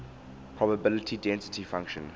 probability density function